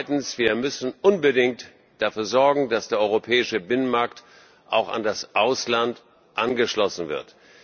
Und zweitens, wir müssen unbedingt dafür sorgen, dass der Europäische Binnenmarkt auch an das Ausland angeschlossen wird.